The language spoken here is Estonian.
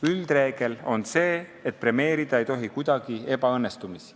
Üldreegel on see, et ebaõnnestumisi ei tohi kuidagi premeerida.